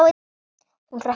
Hún hrökk við.